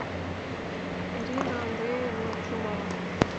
ирина андреевна чумова